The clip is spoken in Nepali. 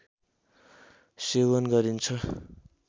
सेवन गरिन्छ